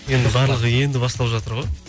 енді барлығы енді басталып жатыр ғой